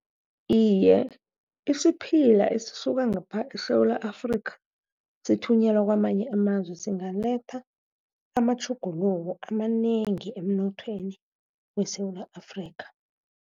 Iye, isiphila esisuka ngapha eSewula Afrika sithunyelwa kwamanye amazwe singaletha amatjhuguluko amanengi emnothweni weSewula Afrika.